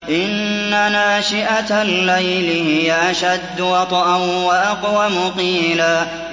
إِنَّ نَاشِئَةَ اللَّيْلِ هِيَ أَشَدُّ وَطْئًا وَأَقْوَمُ قِيلًا